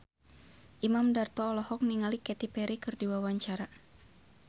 Imam Darto olohok ningali Katy Perry keur diwawancara